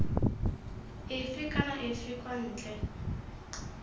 efe kana efe kwa ntle